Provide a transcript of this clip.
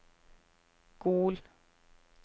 Gol